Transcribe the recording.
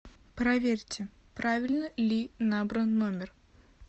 проверьте правильно ли набран номер